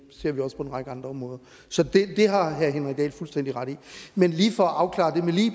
ser vi også på en række andre områder så det har herre henrik dahl fuldstændig ret i men lige for at afklare